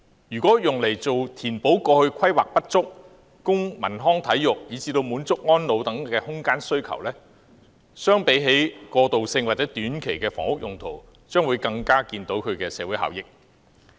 如用作填補過去規劃不足，供文康體育，以至滿足安老等空間需求，相比起過渡性或短期的房屋用途，其社會效益將更明顯。